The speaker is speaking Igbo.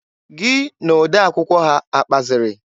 Gị na odee akwụkwọ ha akpaziri?